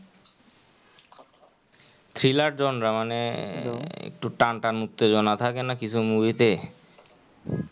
thriller genre মানে একটু টান টান উত্তেজনা থাকে না কিছু movie তে hello আমার কথা কি শোনা যায় না?